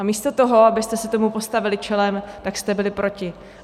A místo toho, abyste se tomu postavili čelem, tak jste byli proti.